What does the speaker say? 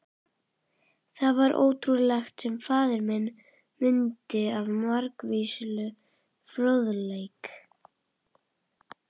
Það var ótrúlegt, sem faðir minn mundi af margvíslegum fróðleik.